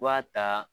B'a ta